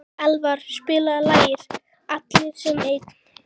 Elva, spilaðu lagið „Allir sem einn“.